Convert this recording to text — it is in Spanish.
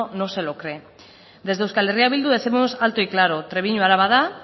se lo cree desde euskal herria bildu décimos alto y claro trebiñu araba da